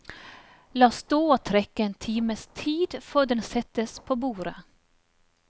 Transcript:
La stå og trekke en times tid før den settes på bordet.